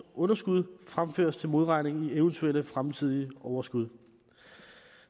underskud fremføres til modregning i eventuelle fremtidige overskud